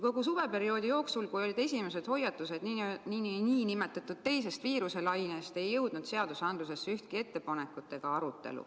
Kogu suveperioodi jooksul, kui olid esimesed hoiatused, et tuleb teine viiruselaine, ei jõudnud õigusaktidesse ühtki ettepanekut.